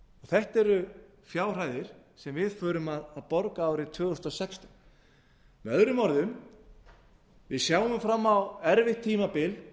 þetta eru fjárhæðir sem við þurfum að borga árið tvö þúsund og sextán með öðrum við sjáum fram á erfitt tímabil